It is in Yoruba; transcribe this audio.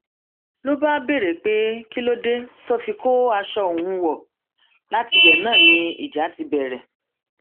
ló bá béèrè pé kí ló dé tó fi kó aṣọ òun wọ látibẹ náà ni ìjà ti bẹrẹ